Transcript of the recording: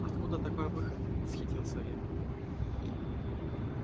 откуда такой выход восхитился я